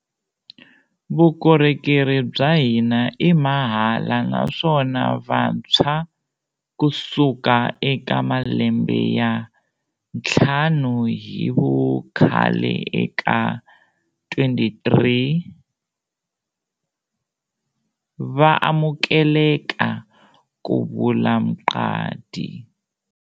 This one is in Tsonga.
Vukorhokeri bya hina i mahala naswona vantshwa kusuka eka malembe ya ntlhanu hi vukhale eka 23 va amukeleka, ku vula Mqadi.